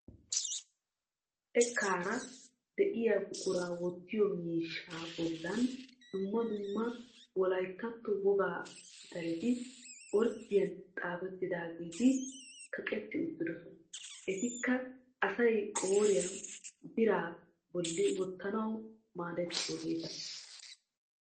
Xekkaara de"iyaa buquraa wottiyo miishshaa bollan dumma dumma wolayittatto wogga pitaleti orddiyan xaafettidaageti kaqetti uttidosona. Etikka asay qooriya biraa bolli wottanaw maaddiyaageeta.